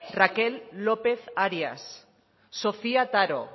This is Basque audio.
raquel lópez árias sofía taro